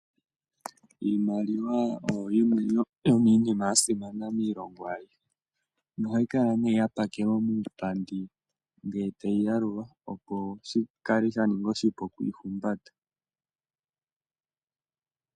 Iimaliwa oyo yimwe yomiinima mbyoka ya simana miilongo ayihe. Nohayi kala ya pakelwa muupandi ngele tayi yalulwa, opo shi kale sha ninga oshipu okuyi humbata.